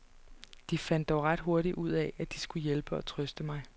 De fandt dog ret hurtigt ud af, at de skulle hjælpe og trøste mig.